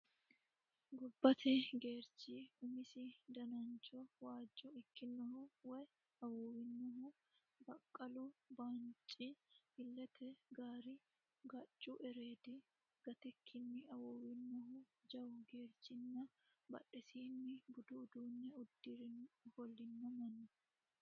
Gobbate geerchi umisi danancho waajjo ikkinohu woy awuuwinohu, baqqaallu baanci, illete gaari, gaccu ereedi gatikkinni awuuwinohu jawa geercinna badhesiinni budu uduunne uddire ofollino manna.